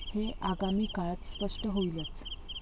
हे आगामी काळात स्पष्ट होईलच.